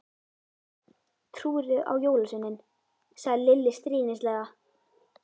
Trúirðu á jólasveininn? sagði Lilla stríðnislega.